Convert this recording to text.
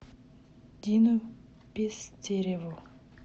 дину пестереву